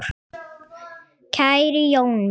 Kæri Jói minn!